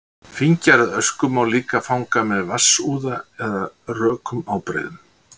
Fíngerða ösku má líka fanga með vatnsúða eða rökum ábreiðum.